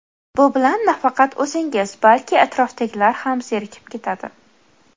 Bu bilan nafaqat o‘zingiz, balki atrofdagilar ham zerikib ketadi.